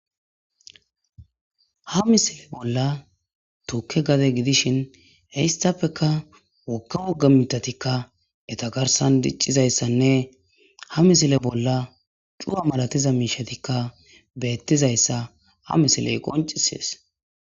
Ha misile bolla tukke gade gidishin hissappeka wokke wogga mitatikka etagarsan diccizayssanne ha misile bolla cua malatiza miishatikka beettizayssa ha misiley qoncisees.